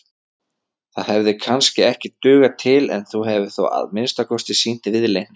Það hefði kannski ekki dugað til en þú hefðir þó að minnsta kosti sýnt viðleitni.